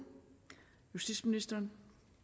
justitsministeren